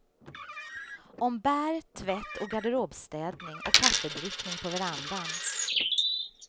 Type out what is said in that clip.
Om bär, tvätt och garderobsstädning och kaffedrickning på verandan.